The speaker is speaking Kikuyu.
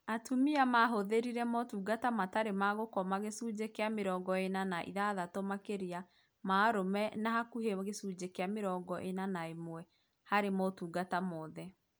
atumia mahũthĩrire motungata matarĩ ma gũkoma gĩcunjĩ kĩa mĩrongo ĩna na ithatũ makĩria ma arũme na hakuhĩ gĩcunjĩ kĩa mĩrongo ĩna na ĩmwe harĩ motungata mothe